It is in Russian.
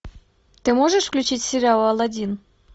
ты можешь включить сериал алладин